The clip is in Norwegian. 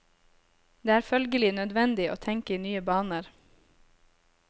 Det er følgelig nødvendig å tenke i nye baner.